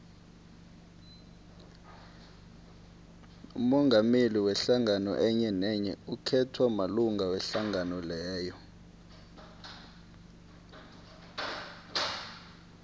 umongameli wehlangano enyenenye ukhethwa malunga wehlangano leyo